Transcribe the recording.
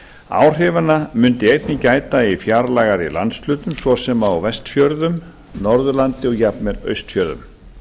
áhrifanna mundi einnig gæta í fjarlægari landshlutum svo sem á vestfjörðum norðurlandi og jafnvel austfjörðum